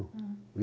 Hm